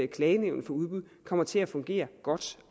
klagenævnet for udbud kommer til at fungere godt